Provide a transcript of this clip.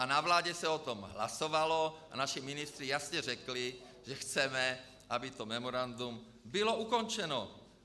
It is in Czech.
A na vládě se o tom hlasovalo a naši ministři jasně řekli, že chceme, aby to memorandum bylo ukončeno.